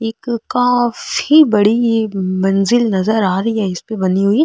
एक काफी बड़ी मंजिल नजर आ रही है इसपे बनी हुई --